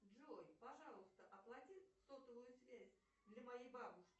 джой пожалуйста оплати сотовую связь для моей бабушки